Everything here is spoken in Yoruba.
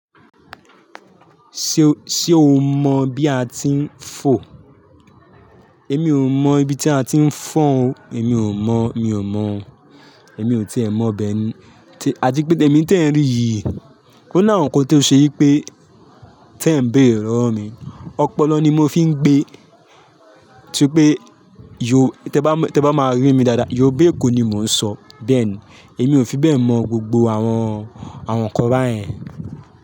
Ṣé o, ṣe o mọ bí a ti ń fò? Émi ò mọ ibi tí a ti ń fọ̀n o. Èmi ò mọ, mi ò mọ. Èmi ò ti è mọ bẹ́ẹ̀ ni. Tí, à ti pé èmi tí ẹ̀ ń rí yìí, ó náwọ̀ nǹkan tó ṣe yí wipé tí ẹ̀ ń béère mi. Ọpọlọ ni mo fi ń gbé. Tí pé yó, tí ẹ bá, tí ẹ bá máa rí mi dáadáa, Yorùbá èkó ni mò ń sọ. Bẹ́ẹ̀ ni, èmi ò fi bẹ́ẹ̀ mọ gbogbo àwọn, àwọn ǹkan báyẹn.